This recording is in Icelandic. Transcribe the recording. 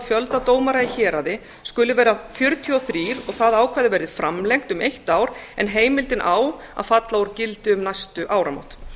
fjölda dómara í héraði skuli vera fjörutíu og þrír og það ákvæði verði framlengt um eitt ár en heimildin á að falla úr gildi um næstu áramót